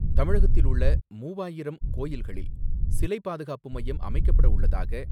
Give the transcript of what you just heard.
தமிழகத்தில் உள்ள மூவாயிரம் கோயில்களில் சிலை பாதுகாப்பு மையம் அமைக்கப்படவுள்ளதாக,